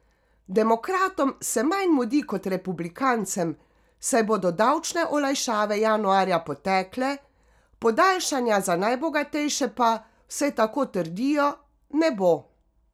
Demokratom se manj mudi kot republikancem, saj bodo davčne olajšave januarja potekle, podaljšanja za najbogatejše pa, vsaj tako trdijo, ne bo.